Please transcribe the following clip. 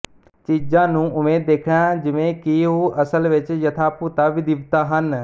ਚੀਜ਼ਾਂ ਨੂੰ ਉਵੇਂ ਦੇਖਣਾ ਜਿਵੇਂ ਕਿ ਉਹ ਅਸਲ ਵਿੱਚ ਯਥਾਭੂਤਾ ਵਿਦਿਤਵਾ ਹਨ